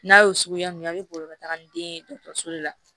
N'a y'o suguya mun ye a bɛ boli ka taaga ni den ye dɔgɔtɔrɔso de la